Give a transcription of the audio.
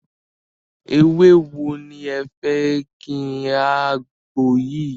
Ewé wo ni ẹ̀ fí ń ki àgbo yí?